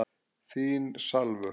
Þín Salvör.